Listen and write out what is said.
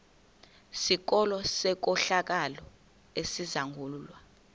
sikolo senkohlakalo esizangulwa